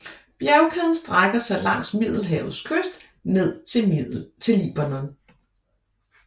Bjergkæden strækker sig langs Middelhavets kyst ned til Libanon